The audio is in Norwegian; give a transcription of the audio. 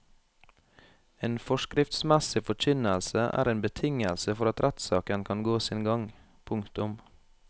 En forskriftsmessig forkynnelse er en betingelse for at rettssaken kan gå sin gang. punktum